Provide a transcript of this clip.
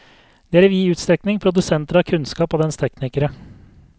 De er i vid utstrekning produsenter av kunnskap og dens teknikere.